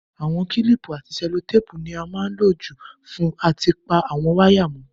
Àwon kílìpù àti sẹ́lótàpù ni a má n lo jù fún áti pa àwon wire mó